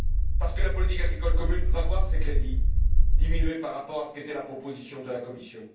Parce que la politique agricole commune va voir ses crédits diminués par rapport à ce qu'était la proposition de la Commission.